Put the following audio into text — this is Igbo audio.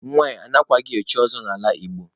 Nwanyị anaghịkwa echi ọzọ n'ala Igbo.